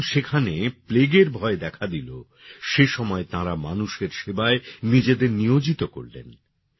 যখন সেখানে প্লেগের ভয় দেখা দিল সেসময়ে তাঁরা মানুষের সেবায় নিজেদের নিয়োজিত করলেন